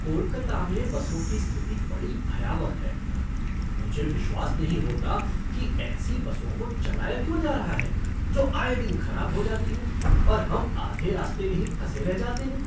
कोलकाता में बसों की स्थिति बड़ी भयावह है! मुझे विश्वास नहीं होता कि ऐसी बसों को चलाया क्यों जा रहा है जो आए दिन खराब हो जाती हैं, और हम आधे रास्ते में ही फंसे रह जाते हैं।